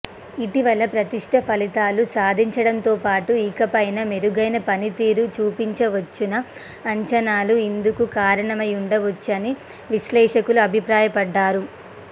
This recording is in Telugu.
ఇటీవల పటిష్ట ఫలితాలు సాధించడంతోపాటు ఇకపైనా మెరుగైన పనితీరు చూపవచ్చన్న అంచనాలు ఇందుకు కారణమై ఉండవచ్చని విశ్లేషకులు అభిప్రాయపడ్డారు